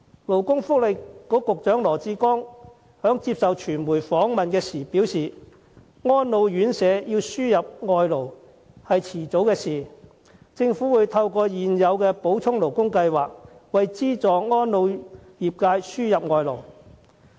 勞工及福利局局長羅致光在接受傳媒訪問時表示，安老院舍要輸入外勞是早晚的事，政府會透過現有的補充勞工計劃，為資助安老業界輸入外勞。